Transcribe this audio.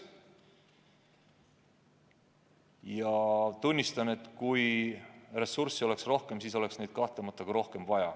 Ma tunnistan, et kui ressurssi oleks rohkem, siis me kasutaks neid kahtlemata ka rohkem.